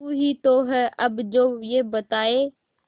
तू ही तो है अब जो ये बताए